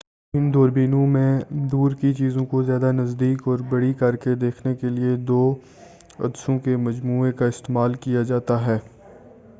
ان دوربینوں میں دور کی چیزوں کو زیادہ نزدیک اور بڑی کرکے دیکھنے کے لیے دو عدسوں کے مجموعے کا استعمال کیا جاتا ہے